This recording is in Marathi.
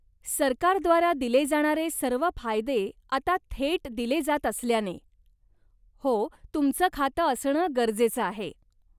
सरकारद्वारा दिले जाणारे सर्व फायदे आता थेट दिले जात असल्याने, हो, तुमचं खातं असणं गरजेचं आहे.